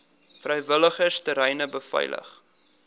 vrywilligers treine beveilig